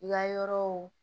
I ka yɔrɔw